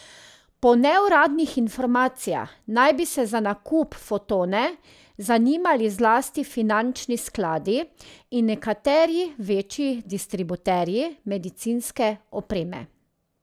Po neuradnih informacijah naj bi se za nakup Fotone zanimali zlasti finančni skladi in nekateri večji distributerji medicinske opreme.